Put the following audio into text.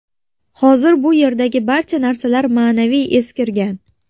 Hozir bu yerdagi barcha narsalar ma’naviy eskirgan.